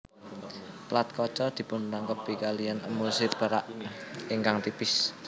Plat kaca dipunrangkepi kaliyan emulsi perak ingkang tipis